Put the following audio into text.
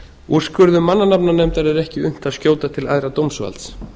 úrskurðum mannanafnanefndar er ekki unnt að skjóta til æðra dómsvalds